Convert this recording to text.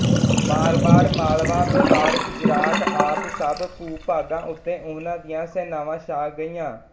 ਮਾਰਵਾੜ ਮਾਲਵਾ ਮੇਵਾੜ ਗੁਜਰਾਤ ਆਦਿ ਸਭ ਭੂਭਾਗਾਂ ਉੱਤੇ ਉਹਨਾਂ ਦੀਆਂ ਸੈਨਾਵਾਂ ਛਾ ਗਈਆਂ